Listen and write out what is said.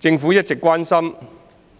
政府一直關心